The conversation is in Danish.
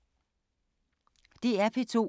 DR P2